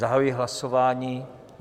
Zahajuji hlasování.